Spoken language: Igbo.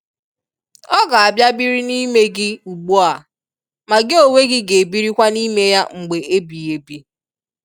Ọ ga-bia biri n'ime gị ugbua ma gị onwe gị ga e birikwa n'ime Ya mgbe ebi ebi.